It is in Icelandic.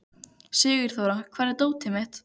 Sigurþóra, hvar er dótið mitt?